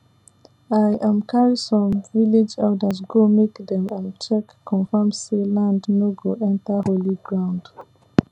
i um carry some village elders go make dem um check confirm say dey land nor go enter holy ground